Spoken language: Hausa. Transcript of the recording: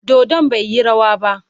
Dodon bai yi rawa ba.